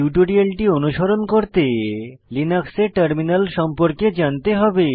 টিউটোরিয়ালটি অনুসরণ করতে লিনাক্সে টার্মিনাল সম্পর্কে জানতে হবে